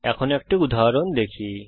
এখন একটি উদাহরণ দেখি